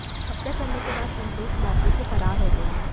हत्या करने के बाद संतोष मौके से फरार हो गया